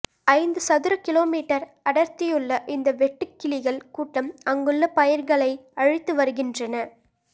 ஐந்து சதுர kilometre அடர்த்தியுள்ள இந்த வெட்டுக் கிளிகள் கூட்டம் அங்குள்ள பயிர்களை அழித்து வருகின்றன